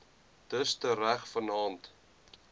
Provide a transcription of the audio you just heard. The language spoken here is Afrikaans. dus tereg vannaand